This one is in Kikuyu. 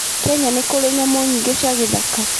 Kenya nĩ kũrĩ nyamũ nyingĩ cia gĩthaka.